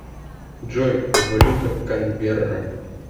джой валюта канберра